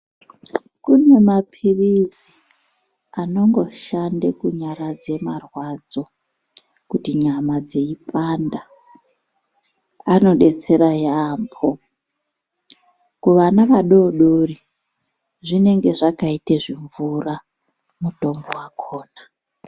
Kune maphirizi anongoshande kunyaradze marwadzo kuti nyama dzeipanda anobetsera yaambo. Kuvana vadodori zvinenge zvakaita zvimvura mutombo vakona.